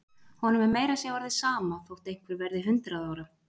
Honum er meira að segja orðið sama þótt einhver verði hundrað ára.